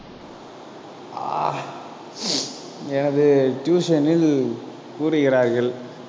ஆஹ் எனது tuition ல் கூறுகிறார்கள்.